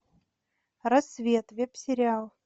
рассвет веб сериал